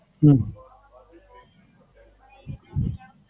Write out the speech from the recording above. હમ